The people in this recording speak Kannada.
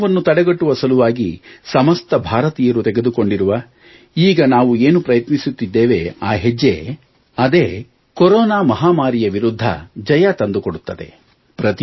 ಕೊರೊನಾವನ್ನು ತಡೆಗಟ್ಟುವ ಸಲುವಾಗಿ ಸಮಸ್ತ ಭಾರತೀಯರು ತೆಗೆದುಕೊಂಡಿರುವ ಈಗ ನಾವು ಏನು ಪ್ರಯತ್ನಿಸುತ್ತಿದ್ದೇವೆ ಆ ಹೆಜ್ಜೆ ಅದೇ ಭಾರತಕ್ಕೆ ಕೊರೊನಾ ಮಹಾಮಾರಿಯ ವಿರುಧ್ಧ ಜಯ ತಂದುಕೊಡುತ್ತದೆ